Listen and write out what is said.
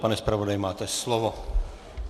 Pane zpravodaji, máte slovo.